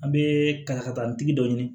An bɛ ka taa nin tigi dɔ ɲini